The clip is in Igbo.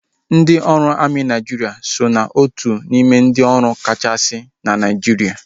Ndị ọrụ amị Naijiria so na otu n'ime ndị ọrụ agha kachasị na Naijiria